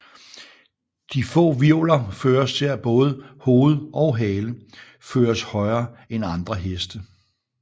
De få hvirvler fører til at både hoved og hale føres højere end andre heste